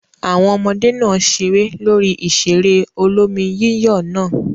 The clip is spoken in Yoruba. Àwọn ọmọdé náà ṣeré lórí ìṣeré olómi-yíyọ̀ náà?